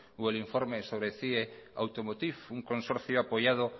o el informe sobre cie automotiv un consorcio apoyado